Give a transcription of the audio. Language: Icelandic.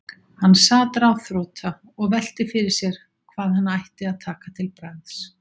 Hann sat ráðþrota og velti fyrir sér hvað hann ætti að taka til bragðs.